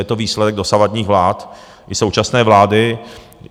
Je to výsledek dosavadních vlád i současné vlády.